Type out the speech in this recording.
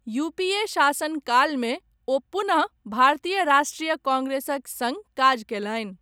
UPA शासनकालमे, ओ पुनः भारतीय राष्ट्रीय काँग्रेसक सङ्ग काज कयलनि।